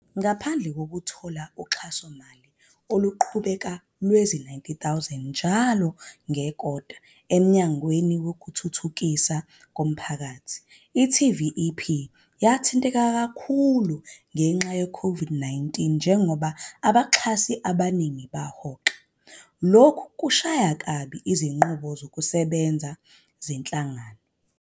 Ngaphandle kokuthola uxhasomali oluqhubekayo lwezi-R90 000 njalo ngekota olusuka eMnyangweni Wezokuthuthukiswa Komphakathi, i-TVEP yathinteka kakhulu ngenxa ye-COVID-19 njengoba abaxhasi abaningi bahoxa, lokho okwashaya kabi izinqubo zokusebenza zenhlangano.